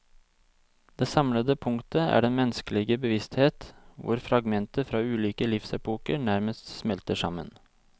Det samlende punktet er den menneskelige bevissthet hvor fragmenter fra ulike livsepoker nærmest smelter sammen.